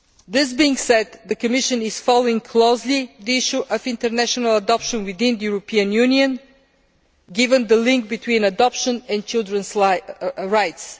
That being said, the Commission is closely following the issue of international adoption within the European Union, given the link between adoption and children's rights.